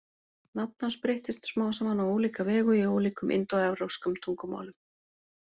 Nafn hans breyttist smám saman á ólíka vegu í ólíkum indóevrópskum tungumálum.